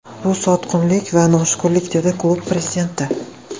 Bu sotqinlik va noshukrlik”, dedi klub prezidenti.